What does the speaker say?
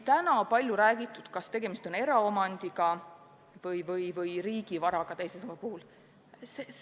Täna on palju räägitud, kas tegemist on eraomandiga või riigi varaga teise samba puhul.